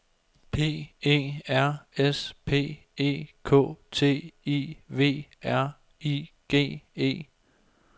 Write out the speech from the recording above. P E R S P E K T I V R I G E